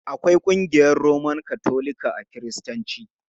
Akwai ƙungiyar Roman Katolika a Kiristanci.